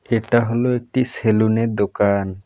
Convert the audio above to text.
এটা হলো একটি সেলুনের দোকান।